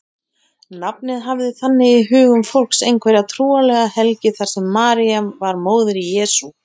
Nafnið hafði þannig í hugum fólks einhverja trúarlega helgi þar sem María var móðir Jesú.